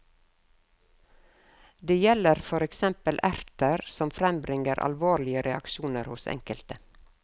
Det gjelder for eksempel erter, som frembringer alvorlige reaksjoner hos enkelte.